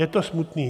Je to smutné.